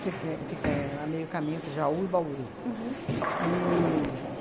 fica a meio caminho entre Jaú e Bauru. Uhum. E